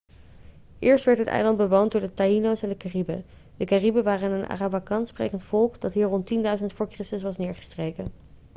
eerst werd het eiland bewoond door de taíno's en de cariben. de cariben waren een arawakan-sprekend volk dat hier rond 10.000 v.chr. was neergestreken